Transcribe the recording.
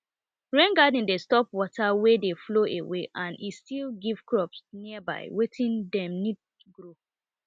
rain garden dey stop water wey dey flow away and e still give crops nearby wetin dem need grow